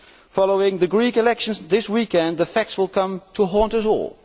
Following the Greek elections this weekend the facts will come to haunt us all.